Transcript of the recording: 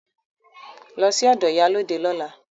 Lọ sí ọ̀dọ̀ ìyálóde lọ́la!